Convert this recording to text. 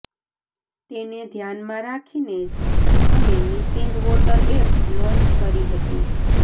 તેને ધ્યાનમાં રાખીને જ અમે મિસિંગ વોટર એપ લોન્ચ કરી હતી